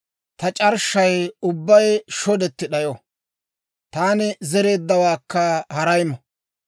ta c'arshshay ubbay shodetti d'ayo; taani zereeddawaakka haray mo.